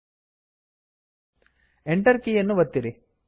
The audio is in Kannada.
Enter ಎಂಟರ್ ಕೀಯನ್ನು ಒತ್ತಿರಿ